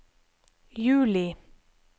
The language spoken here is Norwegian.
juli